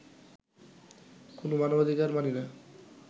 কোন মানবাধিকার মানি না